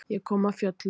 Ég kom af fjöllum.